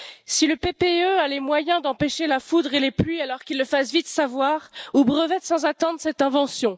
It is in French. Si le groupe du PPE a les moyens d'empêcher la foudre et les pluies, alors qu'il le fasse vite savoir ou brevette sans attendre cette invention.